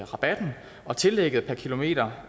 rabatten og tillægget per kilometer